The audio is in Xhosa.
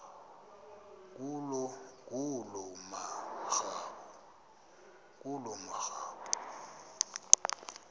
ngulomarabu